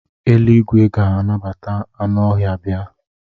Eluigwe ga-anabata anụ ọhịa bia.